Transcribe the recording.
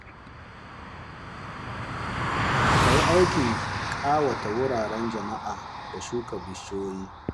Ka yi aikin kawata wuraren jama’a da shuka bishiyoyi.